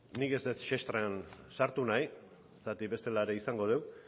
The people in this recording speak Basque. nik ez dut sartu nahi bestela ere izango